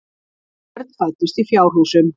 Börn fæddust í fjárhúsum.